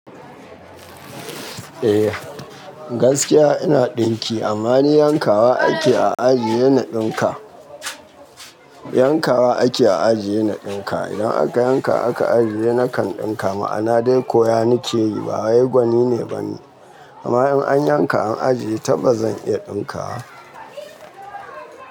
Eh gaskiya ina ɗinki amma ni yanka wa ake a ajiye na ɗinka. Yanka wa ake a ajiye na ɗinka. Idan aka yanka aka ajiye nakan ɗinka. Ma'ana dai ko yanike yi ba wai gwani ne ba ni. Amma in an yanka an ajiye tabbas zan iya ɗinka wa.